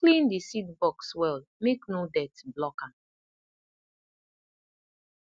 clean the seed box well make no dirt block am